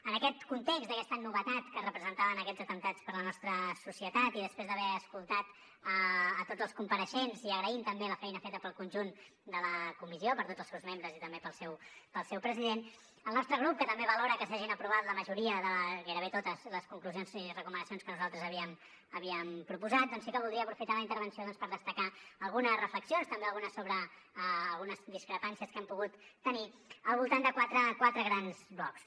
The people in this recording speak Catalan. en aquest context d’aquesta novetat que representaven aquests atemptats per la nostra societat i després d’haver escoltat tots els compareixents i agraint també la feina feta pel conjunt de la comissió per tots els seus membres i també pel seu president el nostre grup que també valora que s’hagin aprovat la majoria de gairebé totes les conclusions i recomanacions que nosaltres havíem proposat doncs sí que voldria aprofitar la intervenció per destacar algunes reflexions també algunes discrepàncies que hem pogut tenir al voltant de quatre grans blocs